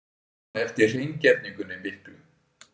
Man eftir hreingerningunni miklu.